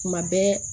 Kuma bɛɛ